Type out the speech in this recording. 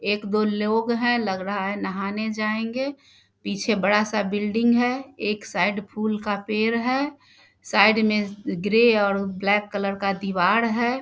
एक दो लोग है लग रहा है नहाने जायेंगे। पीछे बड़ा-सा बिल्डिंग है। एक साइड फूल का पेड़ है। साइड में ग्रे और ब्लैक कलर का दिवार है।